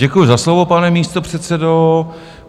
Děkuji za slovo, pane místopředsedo.